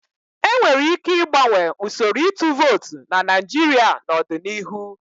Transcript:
E nwere ike ịgbanwe usoro ịtụ vootu na Naijiria n'ọdịnihu.